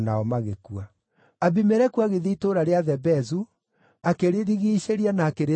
Abimeleku agĩthiĩ itũũra rĩa Thebezu, akĩrĩrigiicĩria na akĩrĩtunyana.